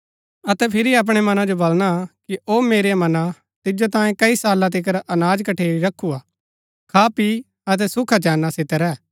अतै फिरी अपणै मना जो वलणा कि ओ मेरेआ मना तिजो तांयें कई साला तिकर अनाज कठेरी रखुआ खापी अतै सुखाचैना सितै रैह